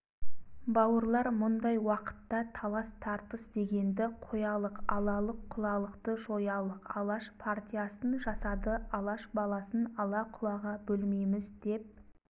бауырлар мұндай уақытта талас-тартыс дегенді қоялық алалық-құлалықты жоялық алаш партиясын жасады алаш баласын ала-құлаға бөлмейміз деп